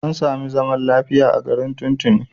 An sami zaman lafiya a garin tun tuni.